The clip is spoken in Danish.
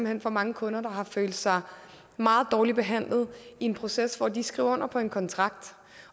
hen for mange kunder der har følt sig meget dårligt behandlet i processen de skriver under på en kontrakt